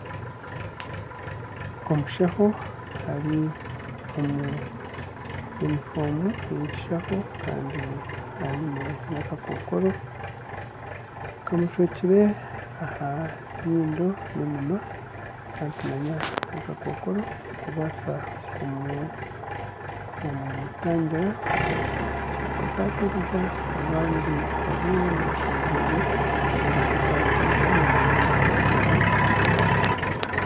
Omushaho ari omu yunifoomu eyekishaho Kandi aine nana akakokoro kamushwekire aha nyindo nana eminwa kandi nitumanya ngu akakokoro kubaasa kumutangira kugira ngu atakaturiza abandi barwaire narishi abarwaire batakamuturiza n'amunonga aha endwara ezirikuturira